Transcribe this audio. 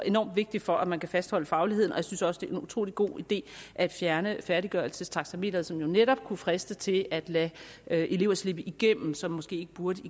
enorm vigtig for at man kan fastholde fagligheden og jeg synes også det er en utrolig god idé at fjerne færdiggørelsestaxameteret som jo netop kunne friste til at lade elever slippe igennem som måske ikke burde